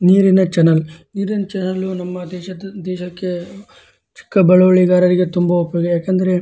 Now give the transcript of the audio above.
ನೀರಿನ ಚನಲ್ ನೀರಿನ ಚನಲ್ ನಮ್ಮ ದೇಶಕ್ಕೆ ಚಿಕ್ಕ ಬಳವರಿಗಾರರಿಗೆ ತುಂಬ ಉಪಯುಕ್ತ ಯಾಕಂದ್ರೆ --